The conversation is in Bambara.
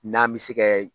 N'an bɛ se kɛ